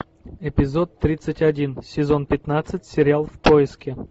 эпизод тридцать один сезон пятнадцать сериал в поиске